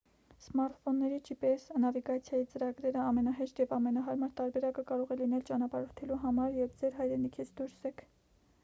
սմարթֆոնների gps նավիգացիայի ծրագրերը ամենահեշտ և ամենահարմար տարբերակը կարող է լինել ճանապարհորդելու համար երբ ձեր հայրենիքից դուրս եք